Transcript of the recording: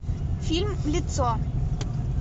фильм лицо